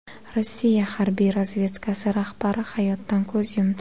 Rossiya harbiy razvedkasi rahbari hayotdan ko‘z yumdi.